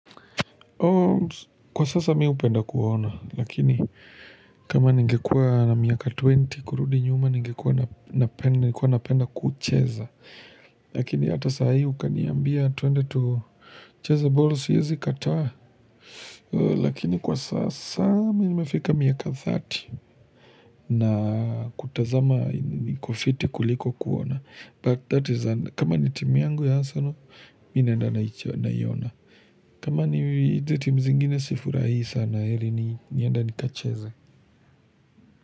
Kwa sasa mi hupenda kuona, lakini kama ngekua na miaka 20 kurudi nyuma, ningekua na penda kucheza. Lakini hata sahi ukaniambia tuende tucheze boli siyezi kataa. Lakini kwa sasa mi nmefika miaka 30 na kutazama nikufiti kuliko kuona. But that is, kama ni timu yangu ya Arsenal, mi huenda naiona. Kama ni hizi timu zingine sifurahii sana heri niende nikacheze.